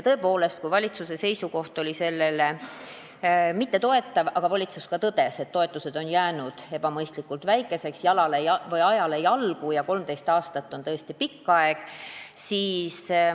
Tõepoolest, valitsuse seisukoht selle eelnõu suhtes ei olnud toetav, aga valitsus tõdes, et toetused on jäänud ebamõistlikult väikeseks, ajale jalgu ja 13 aastat on tõesti pikk aeg.